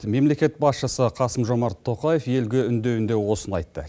мемлекет басшысы қасым жомарт тоқаев елге үндеуінде осыны айтты